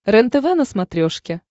рентв на смотрешке